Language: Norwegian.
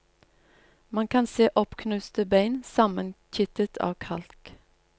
Man kan ser oppknuste bein sammenkittet av kalk.